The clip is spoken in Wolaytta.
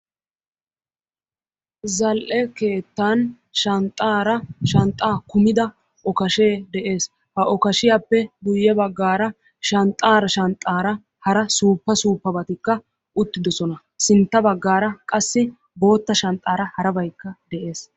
zal'e keettan shanxxa kummida okashee de'ees. harabay qassi issisan shiiqida bootta shanxxan qassi harabaynne de'ees.